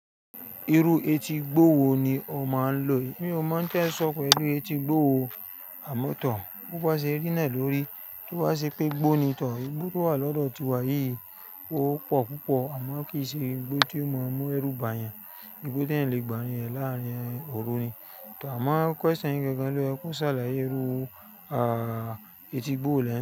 Irú etígbó wo ni o máa ń lò? Mi ò mọ̀ n tẹ́ ẹ sọ pẹ̀lú etígbó wo, àmọ́ tọ̀. Bo ba ṣe rí náà lórí. Tí bá ṣe pé gbó ni tọ́, igbó tó wà lọ́dọ̀ tiwa yìí ó pọ̀ púpọ̀ àmọ́ kì í ṣe igbó tí ó mọ́ mú ẹrú ba yan. Igbó t'èèyàn lè gbàrìn rẹ láàárín òru ni. Tà á mọ́ question gangan ló yẹ kú ṣàlàyé irú etí igbó wo.